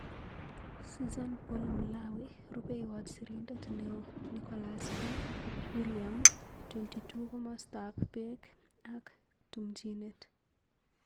Susan Paul Mlawi. Rupeiywot sirindeet neoo-Nicholaus B.,William.22Komostap peek ak tumchinet.